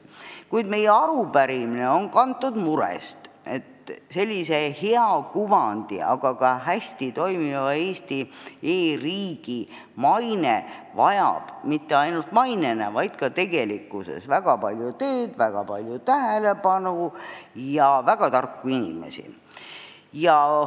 Kuid meie arupärimine on kantud murest, et sellise hea kuvandi, hästi toimiva Eesti e-riigi maine vajab väga palju tööd ja tähelepanu ning väga tarku inimesi.